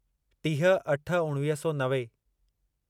टीह अठ उणिवीह सौ नवे